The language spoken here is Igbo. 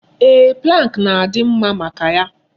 Eeh, pụlank na-adị mma maka ya.